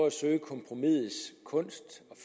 at søge kompromisets kunst